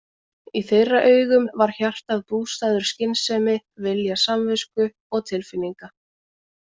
Í þeirra augum var hjartað bústaður skynsemi, vilja samvisku og tilfinninga.